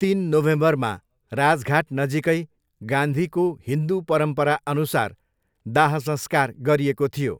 तिन नोभेम्बरमा राजघाट नजिकै गान्धीको हिन्दु परम्पराअनुसार दाहसंस्कार गरिएको थियो।